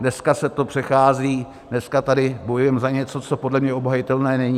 Dneska se to přechází, dneska tady bojujeme za něco, co podle mě obhajitelné není.